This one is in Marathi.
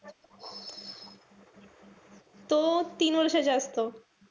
तो तीन वर्षाचे असतो.